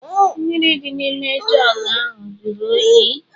Mmiri dị n'ime jugu ahụ jụrụ oyi.